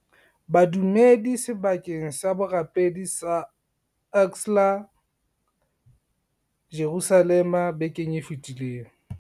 Badumedi sebakeng sa borapedi sa Al Aqsa, Jerusalema bekeng e fetileng.